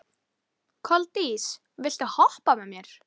Koldís, viltu hoppa með mér?